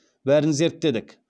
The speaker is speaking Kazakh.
бәрін зерттедік